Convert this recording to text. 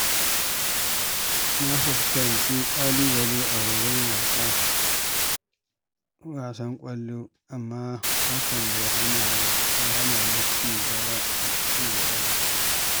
Na fuskanci ƙalubale a horon wasan ƙwallo, amma hakan bai hana ni ci gaba ba.